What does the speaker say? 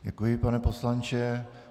Děkuji, pane poslanče.